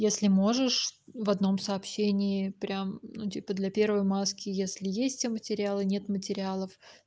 если можешь в одном сообщении прям для первой маски если есть все материалы нет материалов